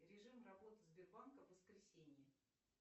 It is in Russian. режим работы сбербанка в воскресенье